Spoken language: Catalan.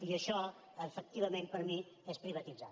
i això efectivament per mi és privatitzar